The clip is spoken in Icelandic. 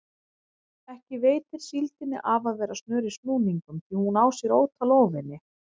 Ekki veitir síldinni af að vera snör í snúningum því hún á sér ótal óvini.